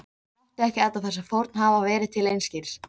Láttu ekki alla þessa fórn hafa verið til einskis!